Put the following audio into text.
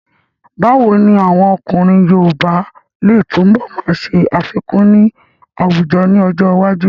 Báwo ni àwọn ọkùnrin yoòbá lè túnbọ̀ máa ṣe àfikún ní àwùjọ ní ọjọ́ iwájú?